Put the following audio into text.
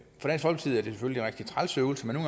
selvfølgelig en rigtig træls øvelse men